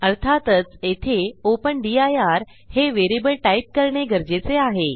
अर्थातच येथे open dir हे व्हेरिएबल टाईप करणे गरजेचे आहे